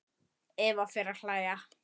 Eva fer að hlæja.